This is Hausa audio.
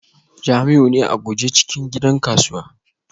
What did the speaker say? Jamiu ne a guje cikin gidan kasuwa